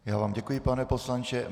Já vám děkuji, pane poslanče.